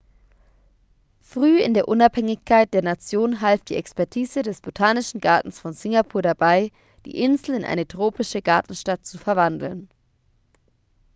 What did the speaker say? früh in der unabhängigkeit der nation half die expertise des botanischen gartens von singapur dabei die insel in eine tropische gartenstadt zu verwandeln